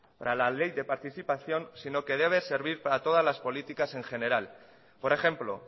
para le ley de participación sino que debe servir para todas las políticas en general por ejemplo